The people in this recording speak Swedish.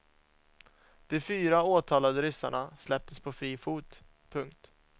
De fyra åtalade ryssarna släpptes på fri fot. punkt